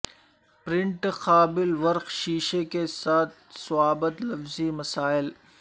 print قابل ورق شیشے کے ساتھ ضوابط لفظی مسائل